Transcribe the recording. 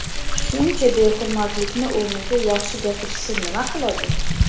Shuncha behurmatlikni o‘rniga yaxshi gapirishsa nima qiladi?